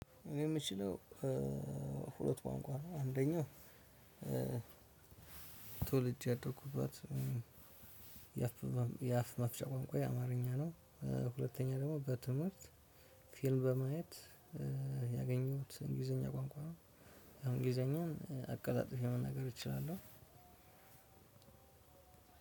እኔ የምችለው ሁለት ቋንቋ ነው። አንደኛው ተወልጄ ያደኩበት የአፍ መፍቻ ቋንቋዬ አማርኛ ነው። ሁለተኛ ደግሞ በትምህርት ፊልም በማየት ያገኘሁት እንግሊዘኛ ቋንቋ ነው። እንግሊዘኛም አቀላጥፌ መናገር እችላለሁ።